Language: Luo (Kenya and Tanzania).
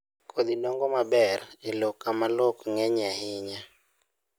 Kodhi dongo maber e lowo kama lowo ok ng'enyie ahinya